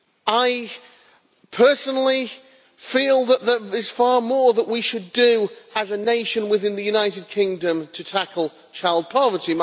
I personally feel that there is far more that we should do, as a nation, within the United Kingdom to tackle child poverty.